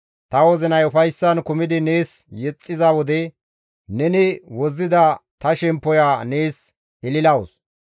Ta wozinay ufayssan kumidi nees yexxiza wode, neni wozzida ta shemppoya nees ililawus.